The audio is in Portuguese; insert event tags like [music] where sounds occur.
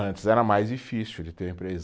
Antes era mais difícil de ter o [unintelligible]